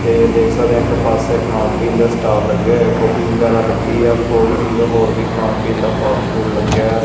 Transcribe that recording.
ਤੇ ਦੇਖ ਸਕਦੇ ਹਾਂ ਇੱਕ ਪਾਸੇ ਖਾਣ ਪੀਣ ਦੇ ਸਟਾਲ ਲੱਗੇ ਹੋਇਆ ਕੌਫੀ ਵਗੈਰਾ ਲੱਗੀ ਆ ਕੋਲਡ ਡਰਿੰਕ ਹੋਰ ਵੀ ਖਾਣ ਪੀਣ ਦਾ ਫਾਸਟਫੂਡ ਲੱਗਿਆ --